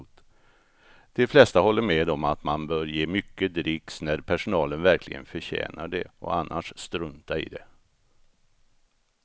De flesta håller med om att man bör ge mycket dricks när personalen verkligen förtjänar det och annars strunta i det.